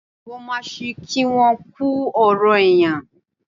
Mo máa ṣí kí won kú ọrọ̀ èèyàn.